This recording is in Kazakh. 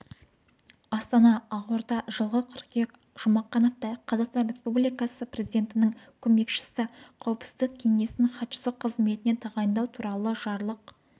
астана ақорда жылғы қыркүйек жұмақановты қазақстан республикасы президентінің көмекшісі қауіпсіздік кеңесінің хатшысы қызметіне тағайындау туралы жарлық